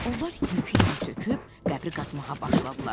Onlar yükü yerə töküb qəbri qazmağa başladılar.